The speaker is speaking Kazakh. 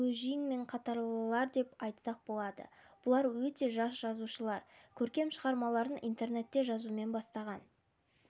гө жиңмиң қатарлылар деп айтсақ болады бұлар өте жас жазушылар көркем шығармаларын интернетте жазумен бастаған